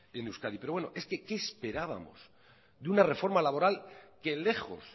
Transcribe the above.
en euskadi pero bueno es que qué esperábamos de una reforma laboral que lejos